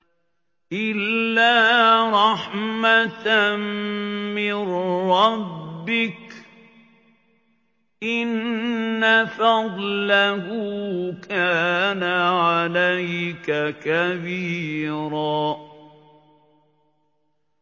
إِلَّا رَحْمَةً مِّن رَّبِّكَ ۚ إِنَّ فَضْلَهُ كَانَ عَلَيْكَ كَبِيرًا